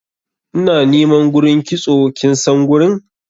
ina niman gurin kitso kinsan gurin?